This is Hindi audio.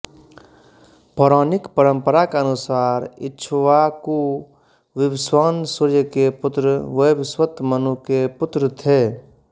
पौराणिक परंपरा के अनुसार इक्ष्वाकु विवस्वान् सूर्य के पुत्र वैवस्वत मनु के पुत्र थे